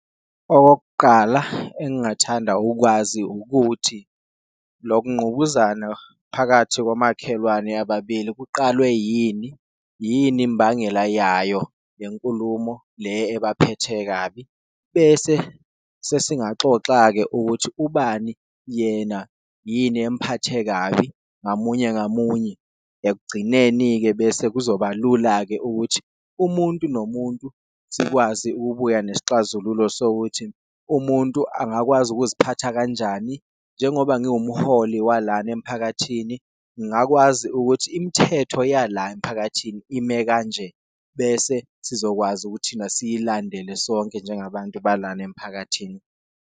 Okokuqala, engingathanda ukwazi ukuthi lokungqubuzana phakathi komakhelwane ababili kuqalwe yini, yini imbangela yayo yenkulumo le abaphethe kabi, bese sesingaxoxa-ke ukuthi ubani yena yini empathe kabi ngamunye ngamunye. Ekugcineni-ke bese kuzoba lula-ke ukuthi umuntu nomuntu sikwazi ukubuya nesixazululo sokuthi umuntu angakwazi ukuziphatha kanjani, njengoba ngiwumholi walana emphakathini ngakwazi ukuthi imithetho yala emphakathini ime kanje. Bese sizokwazi ukuthi thina siyilandele sonke njengabantu balana emphakathini.